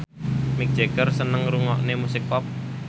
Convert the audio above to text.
Mick Jagger seneng ngrungokne musik pop